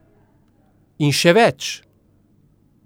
In še več.